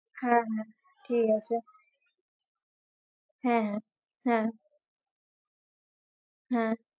হ্যাঁ হ্যাঁ ঠিক আছে হ্যাঁ হ্যাঁ হ্যাঁ